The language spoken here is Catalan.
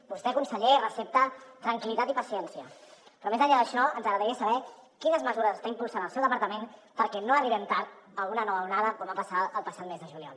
vostè conseller recepta tranquil·litat i paciència però més enllà d’això ens agradaria saber quines mesures està impulsant el seu departament perquè no arribem tard a una nova onada com va passar el passat mes de juliol